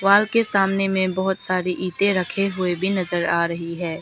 माल के सामने में बहोत सारी इटे रखे हुए भी नजर आ रही है।